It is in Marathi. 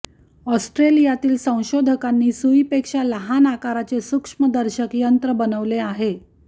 ऑस्ट्रेलियातील संशोधकांनी सुईपेक्षा लहान आकाराचे सूक्ष्मदर्शक यंत्र बनवले आहे